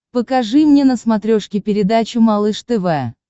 покажи мне на смотрешке передачу малыш тв